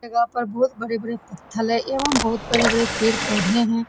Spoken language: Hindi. इस जगह पर बहुत बड़े-बड़े पत्थर है। एवम बहुत बड़े-बड़े पेड़-पोधे है।